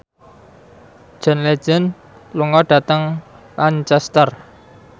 John Legend lunga dhateng Lancaster